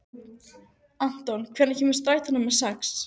Anton, hvenær kemur strætó númer sex?